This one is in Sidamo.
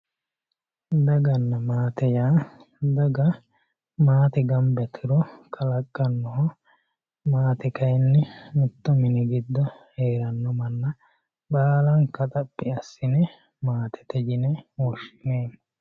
daganna maate yaa daga maatete gamba yituro kalaqqannoho maate kayiinni mittu mini giddo heeranno manna baalanka xaphi assine maatete yine woshshinanni.